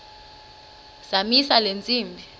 zamisa le ntsimbi